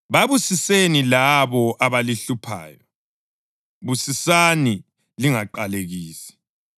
Babusiseni labo abalihluphayo; busisani lingaqalekisi.